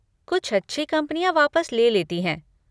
कुछ अच्छी कंपनियाँ वापस ले लेती हैं।